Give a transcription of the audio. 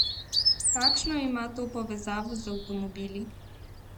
Kakšno ima to povezavo z avtomobili?